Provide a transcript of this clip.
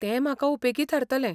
तें म्हाका उपेगी थारतलें.